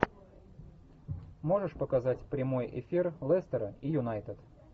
можешь показать прямой эфир лестера и юнайтед